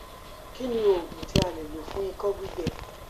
kí ni oògùn tí a lè lò fún iko gbígbẹ